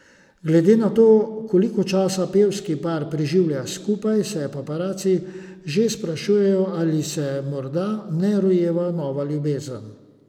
Glede na to, koliko časa pevski par preživi skupaj se paparaci že sprašujejo, ali se morda ne rojeva nova ljubezen.